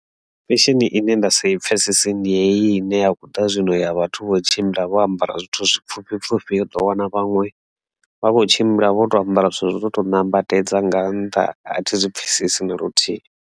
Fesheni ine nda sa i pfhesesi ndi heyi ine ya khou ḓa zwino ya vhathu vho tshimbila vho ambara zwithu zwi pfhufhi pfhufhi u ḓo wana vhaṅwe vha kho tshimbila vho to ambara zwithu zwo no to nambatedza nga nṱha a thi zwi pfhesesi na luthihi.